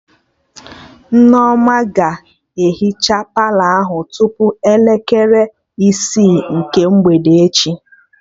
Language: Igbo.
Nneoma ga-ehicha Palọ ahụ tupu elekere isi nke mgbede echi